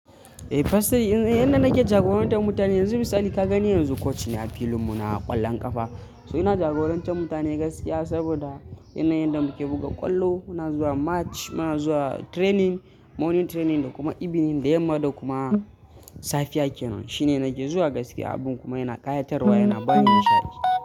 The person inda nake jagorantar mutane yanzu misali ka gani yanzu coach ne a filin mu na ƙwallon ƙafa. Ina jagoranta mutane gaskiya saboda yanayin yadda muke buga ƙwallo. Muna zuwa match, muna zuwa training, morning training da kuma evening da yamma da kuma safiya ke nan. Shi ne nake zuwa gaskiya, abun kuma yana ƙayatarwa, yana bani nishaɗi.